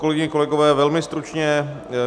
Kolegyně, kolegové, velmi stručně.